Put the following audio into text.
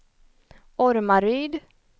Ormaryd